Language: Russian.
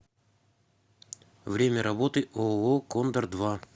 время работы ооо кондор два